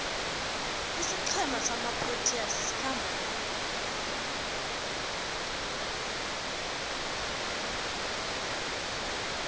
isiqhema samaproteas sikhamba phambili